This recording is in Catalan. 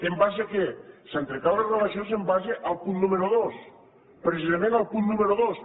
en base a què s’han trencat les relacions en base al punt número dos precisament al punt número dos